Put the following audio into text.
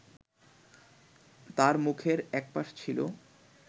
তার মুখের একপাশ ছিলো